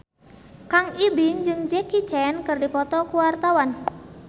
Kang Ibing jeung Jackie Chan keur dipoto ku wartawan